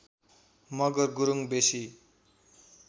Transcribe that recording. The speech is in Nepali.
मगर गुरुङ वेशी